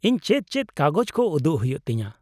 -ᱤᱧ ᱪᱮᱫ ᱪᱮᱫ ᱠᱟᱜᱚᱡ ᱠᱚ ᱩᱫᱩᱜ ᱦᱩᱭᱩᱜ ᱛᱤᱧᱟᱹ ?